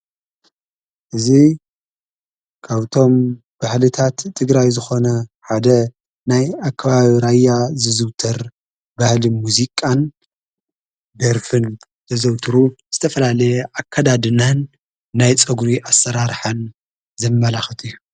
እዙይ ካውቶም ባኅሊታት ትግራይ ዝኾነ ሓደ ናይ ኣከባብራያ ዝዝውተር ባህሊ ሙዙቃን ድርፍን ዘዘውትሩ ዝተፈላለየ ኣከዳድናን ናይ ጸጕሪ ኣሠራርኃን ዘመላኽት እዩ